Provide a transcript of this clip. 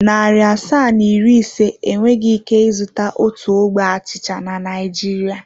Narị asaa na iri ise enweghị ike ịzụta otu ogbe achịcha na Naịjirịa.